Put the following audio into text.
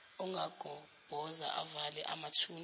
angagobhoza avale amathuna